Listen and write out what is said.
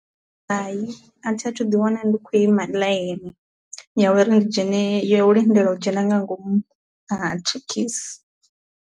Hai a thi athu ḓi wana ndi khou ima line ya uri ndi dzhene ya u lindela u dzhena nga ngomu ha thekhisi.